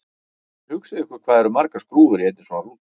Hugsið ykkur hvað það eru margar skrúfur í einni svona rútu!